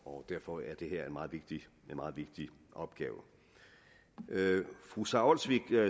og derfor er det her en meget vigtig opgave fru sara olsvig